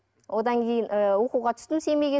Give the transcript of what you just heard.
одан кейін ы оқуға түстім семейге